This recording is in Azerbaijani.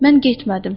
Mən getmədim.